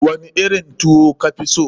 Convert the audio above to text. Wani irin tuwo ka fi so?